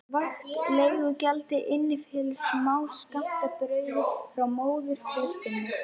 Vægt leigugjaldið innifelur smáskammt af brauði frá móðurklaustrinu.